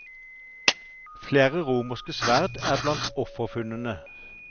Flere romerske sverd er blant offerfunnene.